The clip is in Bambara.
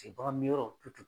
Ten baga min yɔrɔ